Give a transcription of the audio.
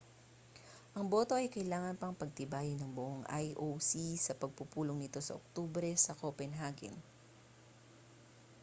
ang boto ay kailangan pang pagtibayin ng buong ioc sa pagpupulong nito sa oktubre sa copenhagen